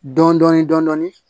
Dɔɔnin dɔɔnin dɔɔnin